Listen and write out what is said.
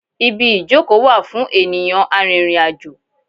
Ibi ìjókòó wà fún ènìyàn arìnrìn-àjò.